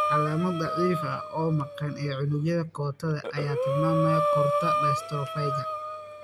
Calaamad daciif ah oo maqan ee unugyada kootada ayaa tilmaamaya koorta dystrophyka